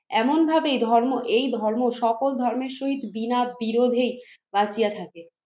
এমন ভাবেই ধর্ম, এই ধর্ম, সকল ধর্মের সহিত বিনা বিরোধে কাটিয়ে থাকে।